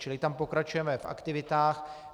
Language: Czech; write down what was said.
Čili tam pokračujeme v aktivitách.